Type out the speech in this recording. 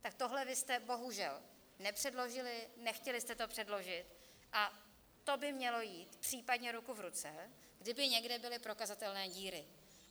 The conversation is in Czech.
Tak tohle vy jste bohužel nepředložili, nechtěli jste to předložit, a to by mělo jít případně ruku v ruce, kdyby někde byly prokazatelné díry.